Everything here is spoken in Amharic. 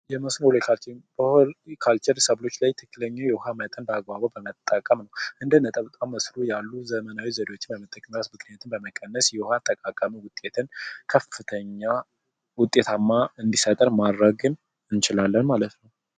የመስኖ አጠቃቀም የውሃ መጠንን በአግባቡ በመጠቀም እንደ ነጠብጣብ መስኖ ያሉት በመጠቀም። ዘመናዊ የውሃ ብክለትን በመቀነስ ከፍተኛ ውጤትን እንዲሰጠን ማድረግ እንችላለን ማለት ነው።